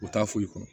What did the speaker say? U t'a foyi kɔnɔ